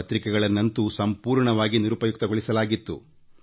ಪತ್ರಿಕೆಗಳ ದನಿಯನ್ನು ಸಂಪೂರ್ಣವಾಗಿ ಹತ್ತಿಕ್ಕಲಾಗಿತ್ತು